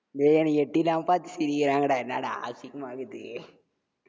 டேய் என்ன எட்டி இல்லாம பாத்து சிரிக்கிறாங்கடா, என்னடா அசிங்கமா இருக்குது